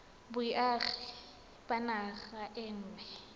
boagi ba naga e nngwe